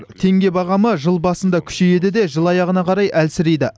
теңге бағамы жыл басында күшейеді де жыл аяғына қарай әлсірейді